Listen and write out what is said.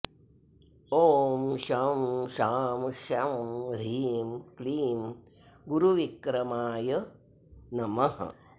ॐ शं शां षं ह्रीं क्लीं गुरुविक्रमाय नमः